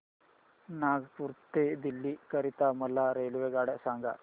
नागपुर ते दिल्ली करीता मला रेल्वेगाड्या सांगा